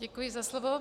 Děkuji za slovo.